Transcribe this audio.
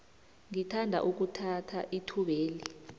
ngithanda ukuthatha ithubeli